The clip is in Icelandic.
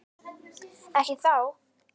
Ekki þá.